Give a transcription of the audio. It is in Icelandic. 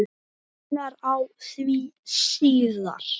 Nánar að því síðar.